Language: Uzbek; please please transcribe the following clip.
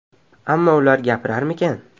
Ammo ular gapirarmikan?